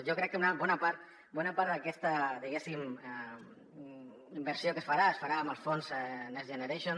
jo crec que una bona part d’aquesta diguéssim inversió que es farà es farà amb els fons next generation